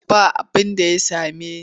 Ba abinda ya same ni.